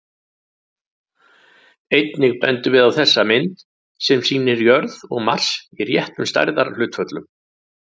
Einnig bendum við á þessa mynd, sem sýnir jörð og Mars í réttum stærðarhlutföllum.